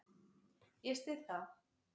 Ég styð það.